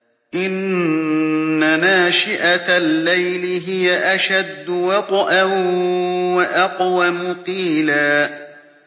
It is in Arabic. إِنَّ نَاشِئَةَ اللَّيْلِ هِيَ أَشَدُّ وَطْئًا وَأَقْوَمُ قِيلًا